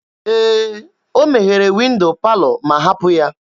Ee, ọ meghere windo palọ ma hapụ ya.